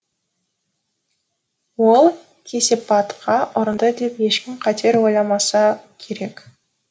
ол кесапатқа ұрынды деп ешкім қатер ойламаса керек